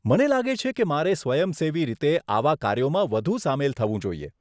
મને લાગે છે કે મારે સ્વયંસેવી રીતે આવા કાર્યોમાં વધુ સામેલ થવું જોઈએ.